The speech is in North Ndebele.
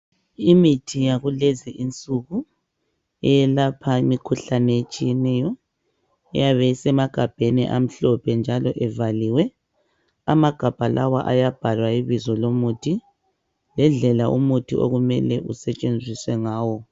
Imithi yakulezinsuku eyelapha imikhuhlane etshiyeneyo eyabe isemagabheni amhlophe njalo evaliwe amagabha lawa ayabhalwa ibizo lomuthi ngendlela umuthi okumele usetshenziswe ngawo.